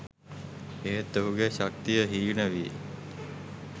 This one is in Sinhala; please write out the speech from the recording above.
එහෙත් ඔහුගේ ශක්තිය හීන වී